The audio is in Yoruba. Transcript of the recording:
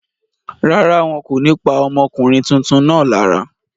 Rárá, wọn kò ní pa ọmọkùnrin tuntun náà lára.